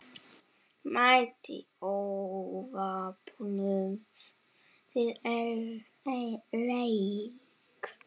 Mætti óvopnuð til leiks.